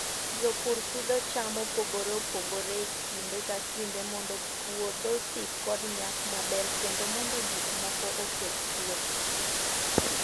Jopur pidho cham mopogore opogore e kinde ka kinde mondo puodho osik kod nyak maber kendo mondo gik moko oketh puothe.